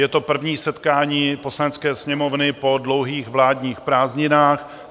Je to první setkání Poslanecké sněmovny po dlouhých vládních prázdninách.